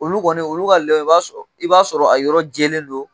Olu kɔni, olu ka lɛ, i b'a sɔrɔ a yɔrɔ jɛlen don.